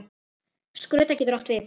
Skrudda getur átt við